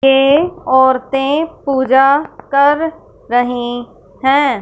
ये औरतें पूजा कर रही हैं।